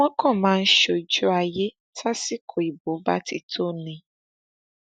wọn kàn máa ń ṣe ojú ayé tásìkò ìbò bá ti tó ni